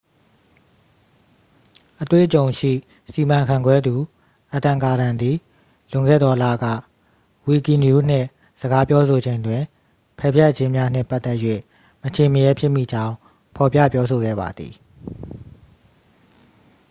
အတွေ့အကြုံရှိစီမံခန့်ခွဲသူ အဒမ် ကာဒန် သည် လွန်ခဲ့သောလက ဝီကီနရူး နှင့် စကားပြောဆိုချိန်တွင် ပယ်ဖျက်ခြင်းများနှင့်ပတ်သက်၍ မချင့်မရဲဖြစ်မိကြောင်း ဖော်ပြပြောဆိုခဲ့ပါသည်